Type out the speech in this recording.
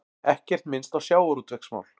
Ekkert minnst á sjávarútvegsmál